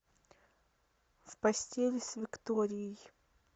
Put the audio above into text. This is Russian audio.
в постели с викторией